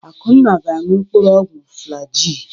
Akunna ga-aṅụ mkpụrụ ọgwụ Flaji.